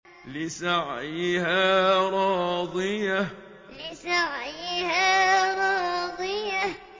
لِّسَعْيِهَا رَاضِيَةٌ لِّسَعْيِهَا رَاضِيَةٌ